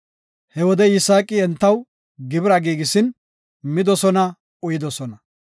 He wode Yisaaqi entaw gibira giigisin midosona, uyidosona.